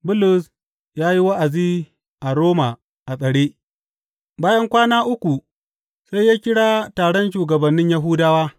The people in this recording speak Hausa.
Bulus ya yi wa’azi a Roma a tsare Bayan kwana uku sai ya kira taron shugabannin Yahudawa.